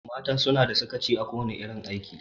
Mata suna da sakaci a kowana irin aiki.